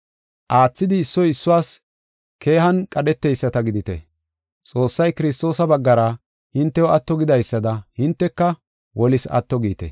Aathidi issoy issuwas keehanne qadheteyisata gidite. Xoossay Kiristoosa baggara hintew atto gidaysada hinteka wolis atto giite.